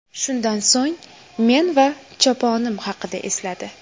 Shundan so‘ng men va choponim haqida esladi.